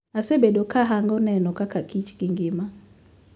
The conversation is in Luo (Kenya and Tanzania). Asebedo ka ahango neno kaka kich gi ngima.